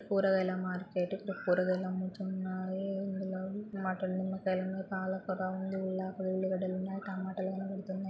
కూరగాయల మార్కెటు . ఇక్కడ కూరగాయలు అమ్ముతున్నారు. ఇందులో మాటలు నిమ్మకాయలున్నయి. పాలకూరా ఉంది. ఉల్లిగడ్డలున్నయ్ టమాటాలు --